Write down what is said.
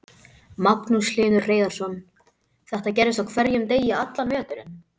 Magnús Hlynur Hreiðarsson: Þetta gerist á hverjum degi allan veturinn?